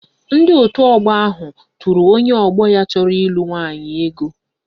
Ndị otu ọgbọ ahụ tụrụ onye ọgbọ ya chọrọ ịlụ nwaanyị ego